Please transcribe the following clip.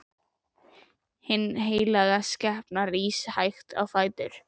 Hin heilaga skepna rís hægt á fætur.